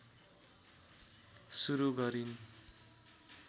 सुरु गरिन्